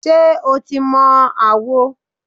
Ṣé o ti mọ àwo?